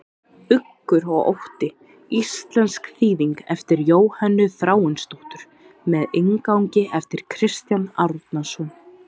Uggur og ótti, íslensk þýðing eftir Jóhönnu Þráinsdóttur með inngangi eftir Kristján Árnason.